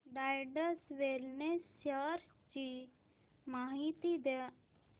Zydus wellness shares ची माहिती द्या